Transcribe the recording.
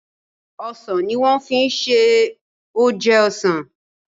osàn ní wan fí ṣe oje osán.